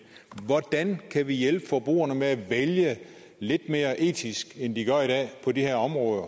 hvordan kan vi hjælpe forbrugerne med at vælge lidt mere etisk på de her områder